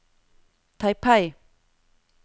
Taipei